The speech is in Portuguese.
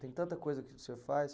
Tem tanta coisa que o senhor faz.